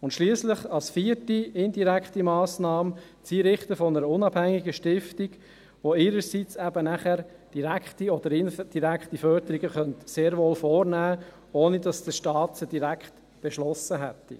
Schliesslich ist als vierte indirekte Massnahmen das Einrichten einer unabhängigen Stiftung vorgesehen, die ihrerseits eben sehr wohl direkte oder indirekte Förderungen vornehmen könnte, ohne dass der Staat diese direkt beschlossen hätte.